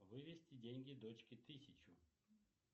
вывести деньги дочке тысячу